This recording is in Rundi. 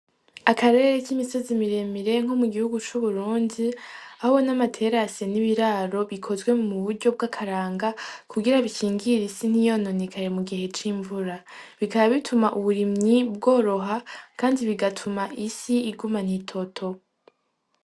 Akarere k'imisozi miremirenko mu gihugu c'uburunzi ahoo n'amaterase n'ibiraro bikozwe mu buryo bw'akaranga kugira bikingira isi ntiyononikare mu gihe c'imvura bikaba bituma uburimyi bworoha, kandi bigatuma isi iguma n'itoto.